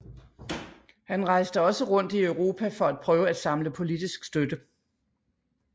Han rejste også rundt i Europa for at prøve at samle politisk støtte